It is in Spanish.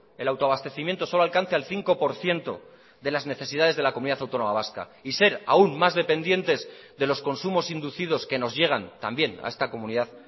el autoabastecimiento solo alcance al cinco por ciento de las necesidades de la comunidad autónoma vasca y ser aun más dependientes de los consumos inducidos que nos llegan también a esta comunidad